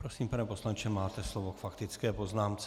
Prosím, pane poslanče, máte slovo k faktické poznámce.